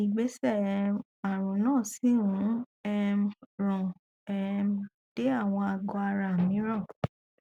ìgbésẹ um ààrùn náà sì ń um ràn um dé àwọn àgó ara mìíràn